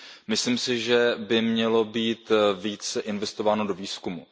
Myslím si, že by mělo být více investováno do výzkumu.